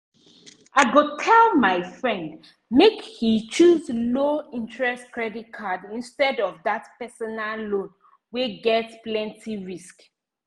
i go tell my friend make e choose low-interest credit card instead of that personal loan wey get plenty risk